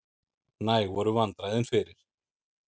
Næg voru vandræðin fyrir.